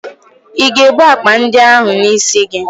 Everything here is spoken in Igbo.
Ị ga-ebu akpa ndị ahụ n'isi gị?